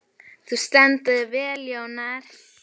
Þú stendur þig vel, Jónar!